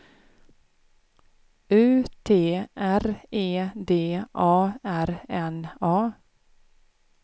U T R E D A R N A